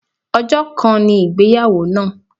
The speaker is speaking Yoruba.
Ọjọ́ kan ni ìgbéyàwó náà.